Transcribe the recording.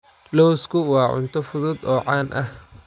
Lawsku waa cunto fudud oo caan ah.